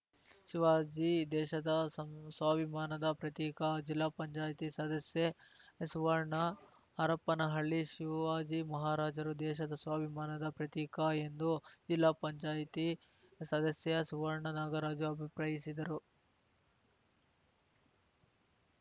ಶಿವಾಜಿ ದೇಶದ ಸಂಸ್ವಾಭಿಮಾನದ ಪ್ರತೀಕ ಜಿಲ್ಲಾ ಪಂಚಾಯತಿ ಸದಸ್ಯೆ ಸುವರ್ಣ ಹರಪನಹಳ್ಳಿ ಶಿವಾಜಿ ಮಹಾರಾಜರು ದೇಶದ ಸ್ವಾಭಿಮಾನದ ಪ್ರತೀಕ ಎಂದು ಜಿಲ್ಲಾ ಪಂಚಾಯತಿ ಸದಸ್ಯೆ ಸುವರ್ಣ ನಾಗರಾಜ ಅಭಿಪ್ರಾಯಿಸಿದರು